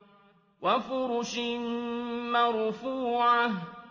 وَفُرُشٍ مَّرْفُوعَةٍ